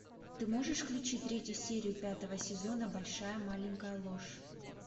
ты можешь включить третью серию пятого сезона большая маленькая ложь